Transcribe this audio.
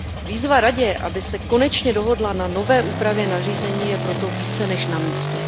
Výzva Radě, aby se konečně dohodla na nové úpravě nařízení, je proto více než na místě.